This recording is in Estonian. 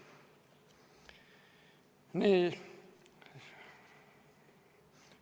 Nii.